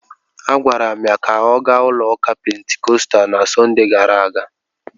Agwara m ya ka ọ gaa ụlọụka Pentikọstal na Sọnde gara aga!